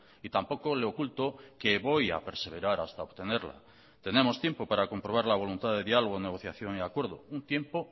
y tampoco le oculto que voy a perseverar hasta obtenerla tenemos tiempo para comprobar la voluntad de diálogo negociación y acuerdo un tiempo